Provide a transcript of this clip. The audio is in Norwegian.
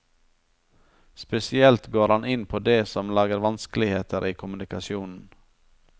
Spesielt går han inn på det som lager vanskeligheter i kommunikasjonen.